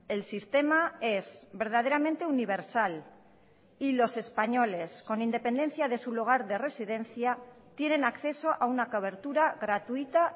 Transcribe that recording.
el sistema es verdaderamente universal y los españoles con independencia de su lugar de residencia tienen acceso a una cobertura gratuita